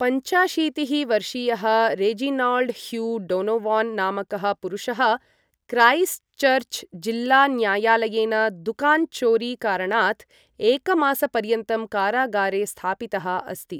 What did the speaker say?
पञ्चाशीतिः वर्षीयः Reginald Hugh Donovan नामकः पुरुषः क्राइस्टचर्च जिल्लान्यायालयेन दुकान चोरी कारणात् एकमासपर्यन्तं कारागारे स्थापितः अस्ति ।